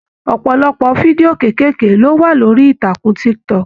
Ọpọlọpọ fídíò keekeeke lo wà lórí ìtàkùn TikTok.